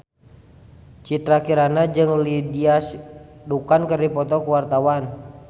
Citra Kirana jeung Lindsay Ducan keur dipoto ku wartawan